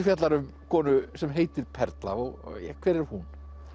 fjallar um konu sem heitir Perla og hver er hún